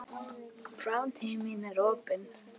Framtíð mín er opin.